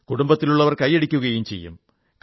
കുടുംബത്തിലുള്ളവർ കൈയടിക്കുകയും ചെയ്യും